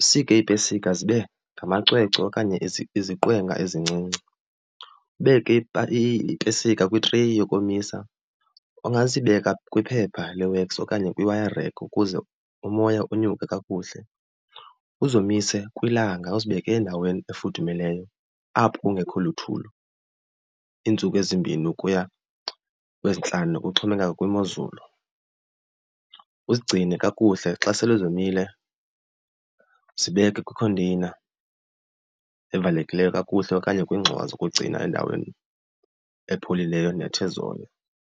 Usike iipesika zibe ngamacwecwe okanye iziqwenga ezincinci. Ubeke iipesika kwitreyi yokomisa, ungazibeka kwiphepha le-wax okanye kwaye kwi-wire rack ukuze umoya unyuke kakuhle. Uzomise kwilanga uzibeke endaweni efudumeleyo apho kungekho luthulu iintsuku ezimbini ukuya kwezintlanu kuxhomekeka kwimozulu. Uzigcine kakuhle xa sele zomile zibeke kwikhonteyina evalekileyo kakuhle okanye kwiingxowa zokugcina endaweni epholileyo nethe zolo.